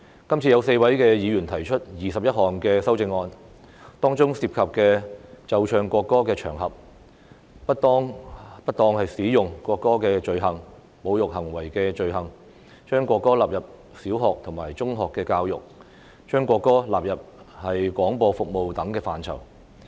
今次有4位議員提出21項修正案，當中涉及奏唱國歌的場合、不當使用國歌的罪行、侮辱行為的罪行、將國歌納入小學和中學教育，以及將國歌納入廣播服務等範疇。